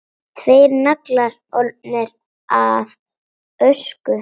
Tveir naglar orðnir að ösku.